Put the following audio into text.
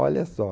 Olha só.